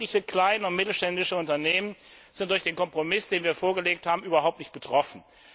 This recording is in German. Wirkliche kleine und mittelständische Unternehmen sind durch den Kompromiss, den wir vorgelegt haben, überhaupt nicht betroffen.